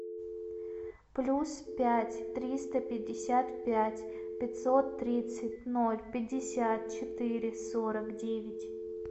плюс пять триста пятьдесят пять пятьсот тридцать ноль пятьдесят четыре сорок девять